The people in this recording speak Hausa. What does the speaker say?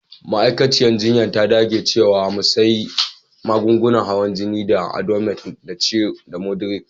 Ma'aikaciyar jinya ta dage cewa mu sy magungunan hawan jini na Adomet da moduretik.